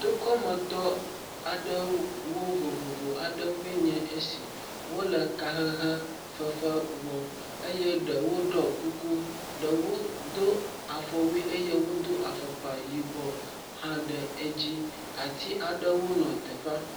Tokɔmetɔ aɖewo vovovo aɖewoe nye esi, wole kahehe fefe wɔm eye ɖewo ɖɔ kuku, ɖewo do afɔwui eye wodo afɔkpa yibɔ aɖe dzi. Ati aɖewo le teƒea.